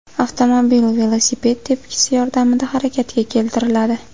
Avtomobil velosiped tepkisi yordamida harakatga keltiriladi.